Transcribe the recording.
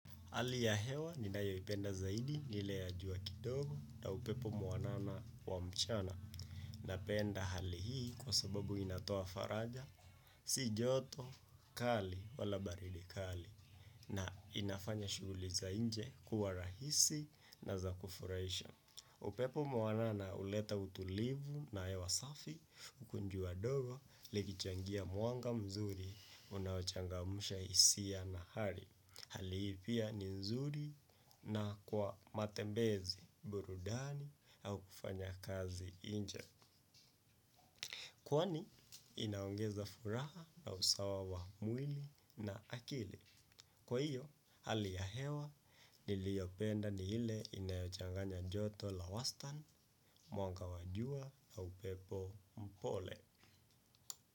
Hali ya hewa ninayoipenda zaidi ni ile ya jua kidogo na upepo mwanana wa mchana napenda hali hii kwa sababu inatoa faraja si joto kali wala baridi kali na inafanya shughuli za nje kuwa rahisi na za kufurahisha. Upepo mwanana huleta utulivu na hewa safi, huku jua dogo, likichangia mwanga mzuri, unaochangamusha hisia na hari. Hali hii pia ni nzuri na kwa matembezi, burudani, au kufanya kazi nje. Kwani, inaongeza furaha na usawa wa mwili na akili. Kwa hiyo, hali ya hewa niliyopenda ni ile inayochanganya joto la wastan, mwanga wa jua na upepo mpole.